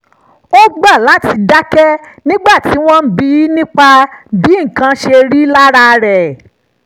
ó gbà láti dákẹ́ nígbà tí wọ́n bi í nípa bí nǹkan ṣe rí lára rẹ̀